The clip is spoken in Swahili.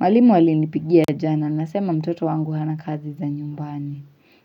Mwalimu ali nipigia jana, anasema mtoto wangu hana kazi za nyumbani.